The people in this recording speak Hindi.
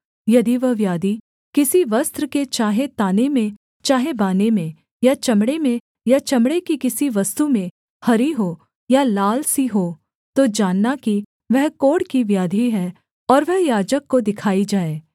यदि वह व्याधि किसी वस्त्र के चाहे ताने में चाहे बाने में या चमड़े में या चमड़े की किसी वस्तु में हरी हो या लाल सी हो तो जानना कि वह कोढ़ की व्याधि है और वह याजक को दिखाई जाए